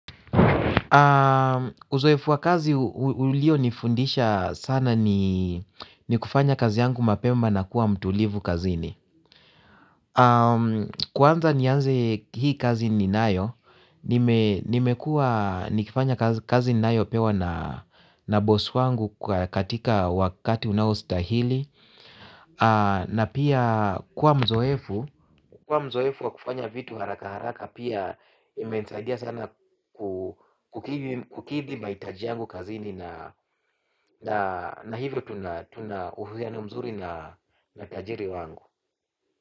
Uzoefu wa kazi ulio nifundisha sana ni kufanya kazi yangu mapema na kuwa mtulivu kazi ini. Kwanza nianze hii kazi ninayo. Nimekua nikifanya kazi ninayo pewa na bosi wangu katika wakati unao stahili. Na pia kuwa mzoefu kuwa mzoefu wakufanya vitu haraka haraka pia imensaidia sana kukidhi mahitaji yangu kazini na hivyo tuna uhusiano mzuri na tajiri wangu.